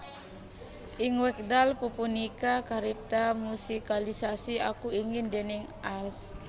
Ing wekdal pupunika karipta musikalisasi Aku Ingin déning Ags